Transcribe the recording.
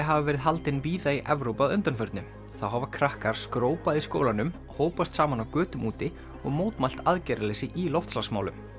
hafa verið haldin víða í Evrópu að undanförnu þá hafa krakkar skrópað í skólanum hópast saman á götum úti og mótmælt aðgerðarleysi í loftslagsmálum